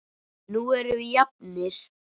Nú erum við jafnir.